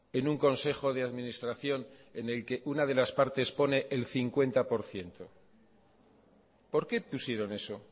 en un consejo de administración en el que una de las partes pone el cincuenta por ciento por qué pusieron eso